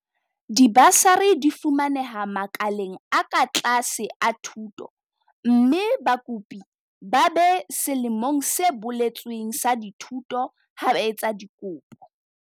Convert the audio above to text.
Dibasari di fumaneha makaleng a ka tlase a thuto mme bakopi ba be selemong se boletsweng sa dithuto ha ba etsa dikopo.